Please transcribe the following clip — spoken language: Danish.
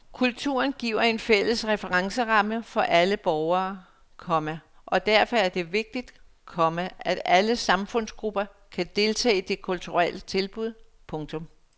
Kulturen giver en fælles referenceramme for alle borgere, komma og derfor er det vigtigt, komma at alle samfundsgrupper kan deltage i de kulturelle tilbud. punktum